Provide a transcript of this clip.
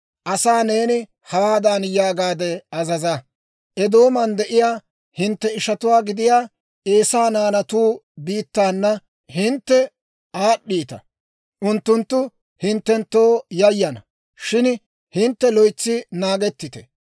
Asaa neeni hawaadan yaagaade azaza; «Eedooman de'iyaa hintte ishatuwaa gidiyaa Eesaa naanatu biittaana hintte aad'd'iita. Unttunttu hinttenttoo yayana; shin hintte loytsi naagettite.